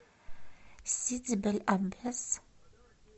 сиди бель аббес